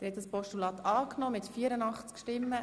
Der Grosse Rat hat das Postulat angenommen.